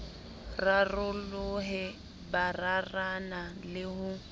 rarolohe bo rarana le ho